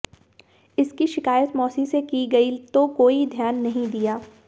इसकी शिकायत मौसी से की गई तो कोई ध्यान नहीं दिया